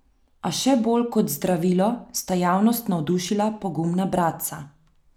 A še bolj kot zdravilo sta javnost navdušila pogumna bratca.